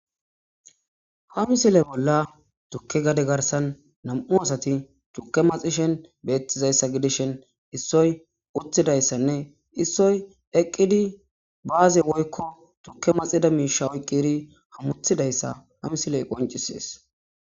Ha misile bolla tukke gade garsan nam7u asati tukke maxishen beettizayssa gidishen issoy utthidayssanne issoy eqqidi baaze woykko tukke maxida miisha oyqqiri hamuthidayssa ha misiley qoncises.